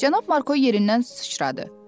Cənab Marko yerindən sıçradı.